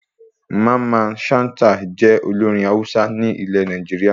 Mamman Shata jẹ́ olórin Hausa ní ile Nàìjíríà